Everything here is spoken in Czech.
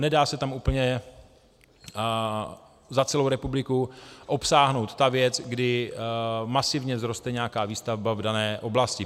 Nedá se tam úplně za celou republiku obsáhnout ta věc, kdy masivně vzroste nějaká výstavba v dané oblasti.